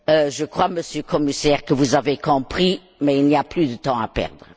Je crois, Monsieur le Commissaire, que vous l'avez compris, mais il n'y a plus de temps à perdre.